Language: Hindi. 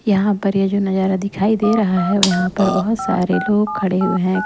यहाँ पर ये जो नजारा दिखाई दे रहा है यहाँ पर बहुत सारे लोग खड़े हुए हैं।